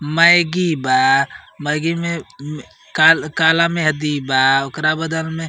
मैगी बा। मैगी में काला मेहँदी बा ओकरा बदल में।